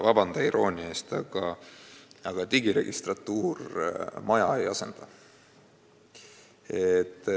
Vabanda iroonia eest, aga digiregistratuur maja ei asenda.